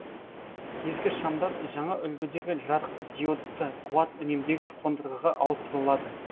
ескі шамдар жаңа үлгідегі жарықдиодты қуат үнемдегіш қондырғыға ауыстырылады